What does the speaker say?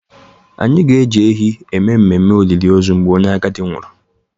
Anyị ga-eji ehi eme ememe olili ozu mgbe onye agadi nwụrụ